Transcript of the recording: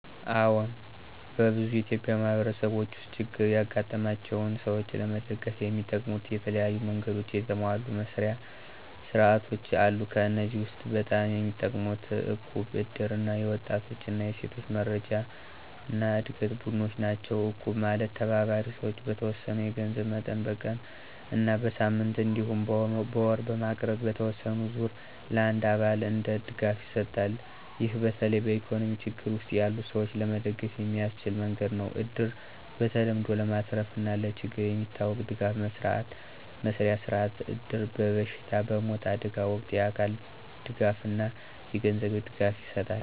አዎን፣ በብዙ ኢትዮጵያዊ ማህበረሰቦች ውስጥ ችግር ያጋጠማቸውን ሰዎች ለመደገፍ የሚጠቀሙት የተለያዩ መንገዶችና የተሟሉ መስርያ ሥርዓቶች አሉ። ከእነዚህ ውስጥ በጣም የሚጠቀሙት እቁብ፣ እድር እና የወጣቶች እና ሴቶች መረጃና ዕድገት ቡድኖች ናቸው። እቁብ ማለት ተባባሪ ሰዎች በተወሰነ የገንዘብ መጠን በቀን እና በሳምንት እንዲሁም በወር በማቅረብ በተወሰነ ዙር ለአንዱ አባል እንደ ድጋፍ ይሰጣል። ይህ በተለይ በኢኮኖሚ ችግር ውስጥ ያሉ ሰዎች ለመደገፍ የሚያስችል መንገድ ነው። እድር በተለምዶ ለማትረፍና ለችግር የሚታወቅ ድጋፍ መስርያ ሥርዓት ነው። እድር በበሽታ፣ በሞት፣ በአደጋ ወቅት የአካል ድጋፍና የገንዘብ ድጋፍ ይሰጣል።